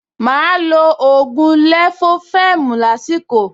Máa lo ògùn lẹ̀fófẹ́ẹ̀mù lásìkò